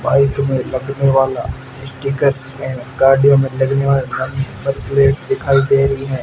Bike में लगने वाला स्टीकर भी है गाड़ियों में लगने वाला नंबर प्लेट दिखाई दे रही है।